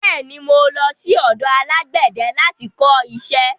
Bẹ́ẹ̀ ni, mo lọ sí ọ̀dọ alágbẹ̀dẹ láti kọ iṣẹ́.